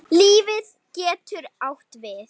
Líf getur átt við